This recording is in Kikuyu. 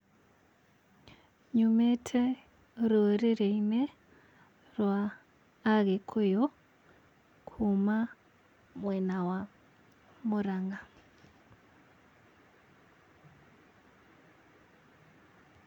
Nyumĩte rũrĩrĩ-inĩ rwa Agĩkuyu, kuma mwena wa Mũrang'a.